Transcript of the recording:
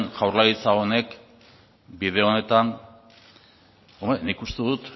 jaurlaritza honek bide honetan hombre nik uste dut